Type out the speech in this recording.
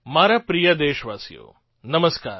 મારા પ્રિય દેશવાસીઓ નમસ્કાર